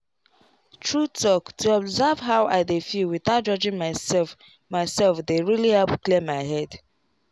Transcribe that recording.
true talk to observe how i dey feel without judging myself myself dey really help clear my head.